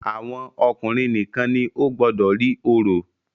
Àwọn ọkùnrin nìkan ni ó gbọdọ rí orò.